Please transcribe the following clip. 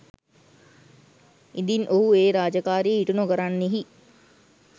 ඉදින් ඔහු ඒ රාජකාරිය ඉටු නොකරන්නෙහි